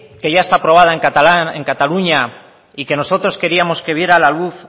que ya está aprobada en cataluña y que nosotros queríamos que viera la luz